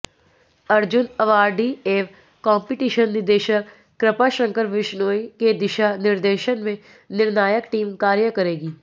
Arjun awardee एवं competition निदेशक कृपाशंकर विशनोई के दिशा निर्देशन में निर्णायक टीम कार्य करेगी